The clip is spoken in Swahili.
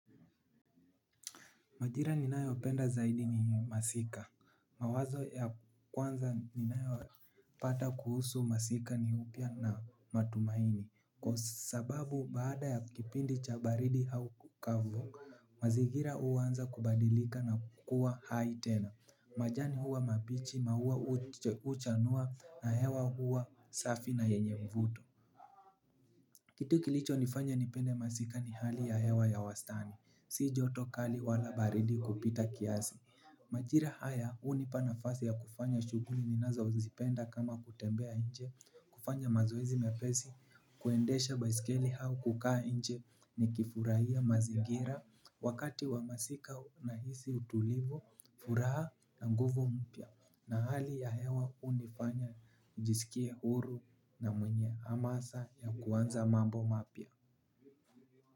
Majira ninayopenda zaidi ni masika, mawazo ya kwanza ninayo pata kuhusu masika ni upya na matumaini. Kwa sababu baada ya kipindi cha baridi au kavu, mazingira huanza kubadilika na kukua hai tena, majani huwa mabichi, maua huchanua na hewa huwa safi na yenye mvuto. Kitu kilichonifanya nipende masika ni hali ya hewa ya wastani. Si joto kali wala baridi kupita kiasi. Majira haya hunipa nafasi ya kufanya shughuli ninazozipenda kama kutembea nje, kufanya mazoezi mepesi, kuendesha baiskeli au kukaa nje nikifurahia mazingira. Wakati wa masika nahisi utulivu, furaha na nguvu mpya. Na hali ya hewa hunifanya nijisikie huru na mwenye hamasa ya kuanza mambo mapya.